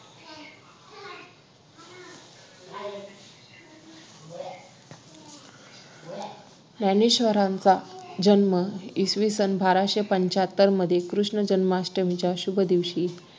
ज्ञानेश्वरांचा जन्म इसविसन बाराशे पंच्याहत्तर मध्ये कृष्ण जन्माष्टमीच्या शुभ दिवशी